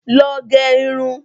Lọọ gẹ irun